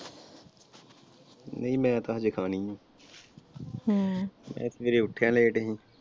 ਨਹੀਂ ਮੈਂ ਤਾਂ ਹਜੇ ਖਾਣੀ ਆ ਸਵੇਰੇ ਉਠਿਆ late ਹੀ।